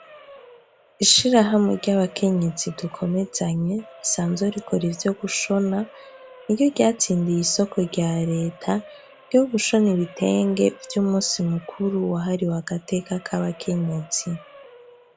Ishirahamwe ry'abakenyezi dukomezanye risanzwe rikora ivyo gushona, n'iryo ryatsindiye isoko rya Reta ryo gushona ibitenge vy'umusi mukuru wahariwe agateka k'abakenyezi.